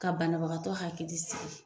Ka banabagatɔ hakili sigi